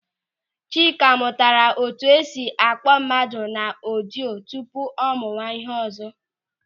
Chika mụtara etu esi akpọọ mmadụ na ọdịo tupu ọ mụwa ịhe ọzọ.